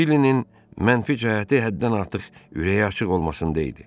Billinin mənfi cəhəti həddən artıq ürəyi açıq olmasındaydı.